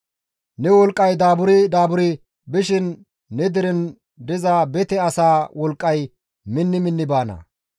Ne wolqqay daaburi daaburi bishin ne deren diza bete asaa wolqqay minni minni baana.